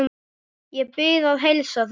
Ég bið að heilsa þeim.